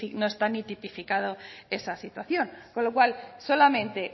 no está ni tipificado esa situación con lo cual solamente